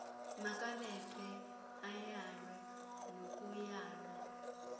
makabethwe ayalwe nokuyalwa